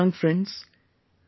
My dear young friends,